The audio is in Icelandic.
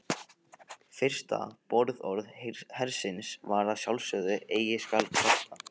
Fyrsta boðorð hersins var að sjálfsögðu Eigi skal kvarta.